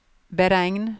beregn